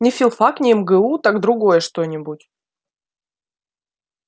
не филфак не мгу так другое что-нибудь